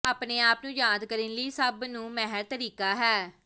ਆਪਣੇ ਆਪ ਨੂੰ ਯਾਦ ਕਰਨ ਲਈ ਸਭ ਨੂੰ ਮਾਹਿਰ ਤਰੀਕਾ ਹੈ